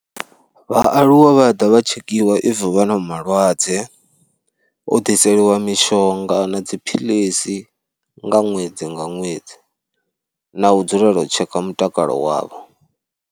Vhaaluwa vha ḓa vha tshekhiwa if vha na malwadze, u ḓiselwa mishonga na dziphilisi nga ṅwedzi nga ṅwedzi na u dzulela u tsheka mutakalo wavho.